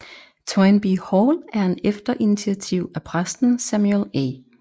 Toynbee Hall er en efter initiativ af præsten Samuel A